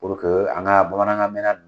an ka bamanankan mɛn na ninnu